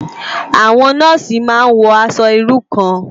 Awòn nòsí má n wò aṣò irú kán